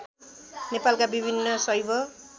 नेपालका विभिन्न शैव